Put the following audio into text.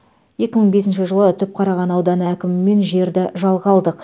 екі мың бесінші жылы түпқараған ауданы әкімімен жерді жалға алдық